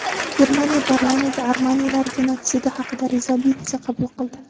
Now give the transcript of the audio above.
Germaniya parlamenti armanilar genotsidi haqida rezolyutsiya qabul qildi .